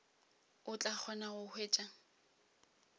o tla kgona go hwetša